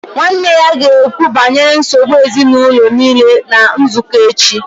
Nwanne ya ga-ekwu banyere nsogbu ezinụlọ niile na nzukọ echi